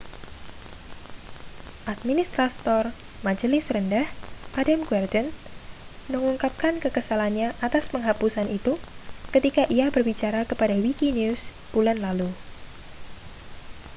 administrator majelis rendah adam cuerden mengungkapkan kekesalannya atas penghapusan itu ketika ia berbicara kepada wikinews bulan lalu